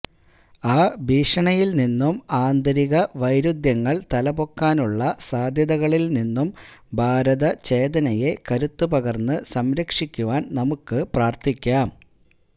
ആ ഭീഷണിയില് നിന്നും ആന്തരിക വൈരുദ്ധ്യങ്ങള് തലപൊക്കുവാനുള്ള സാദ്ധ്യതകളില് നിന്നും ഭാരതചേതനയെ കരുത്തു പകര്ന്ന് സംരക്ഷിക്കുവാന് നമുക്ക് പ്രാര്ത്ഥിക്കാം